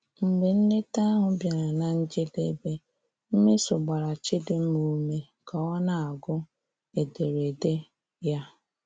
Mgbe nleta ahụ bịara na njedebe, Mmeso gbara Chidimma ume ka ọ na-agụ ederede ya.